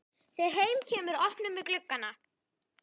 Þegar heim kemur opnum við gluggana.